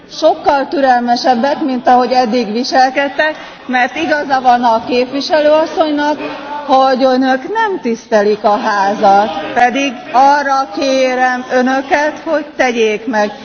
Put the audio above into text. Sokkal türelmesebbek, mint ahogy eddig viselkedtek, mert igaza van a képviselő asszonynak, hogy Önök nem tisztelik a Házat, pedig arra kérem Önöket, hogy tegyék meg!